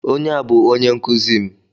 Onye a bụ onye nkuzi m.